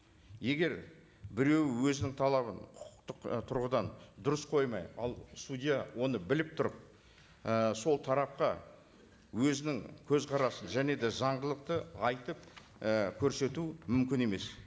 егер біреу өзінің талабын құқықтық і тұрғыдан дұрыс қоймай ал судья оны біліп тұрып і сол тарапқа өзінің көзқарасын және де заңдылықты айтып і көрсету мүмкін емес